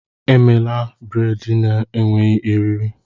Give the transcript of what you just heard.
Emela braid na-enweghị eriri!